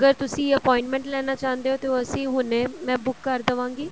ਅਗਰ ਤੁਸੀਂ appointment ਲੇਣਾ ਚਾਹੁੰਦੇ ਹੋ ਤੇ ਉਸ ਅਸੀਂ ਹੁਣੇ ਮੇ ਬੁੱਕ ਕਰ ਦਵਾਂਗੀ